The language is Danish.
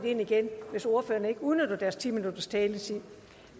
ind igen hvis ordførerne ikke udnytter deres ti minutters taletid